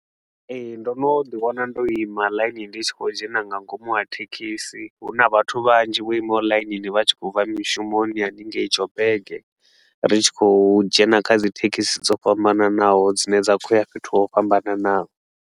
Ee, ndo no ḓi wana ndo ima ḽainini ndi tshi khou dzhena nga ngomu ha thekhisi. Hu na vhathu vhanzhi vho imaho ḽainini, vha tshi khou bva mishumoni hanengei Joburg, ri tshi khou dzhena kha dzi thekhisi dzo fhambananaho dzine dza khou ya fhethu ho fhambananaho.